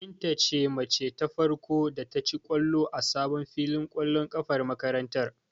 Binta ce mace ta farko da ta ci ƙwallo a sabon filin ƙwallon ƙafar makarantar.